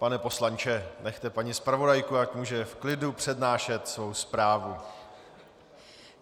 Pane poslanče, nechte paní zpravodajku, ať může v klidu přednášet svou zprávu.